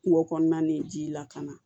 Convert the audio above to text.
Kungo kɔnɔna nin ji lakana